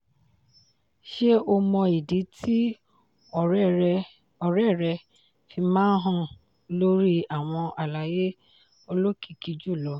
ṣé o mọ ìdí tí ọ̀rẹ́ rẹ fi máa hàn lórí àwọn àlàyé olókìkí jùlọ?